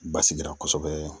Basigira kosɛbɛ.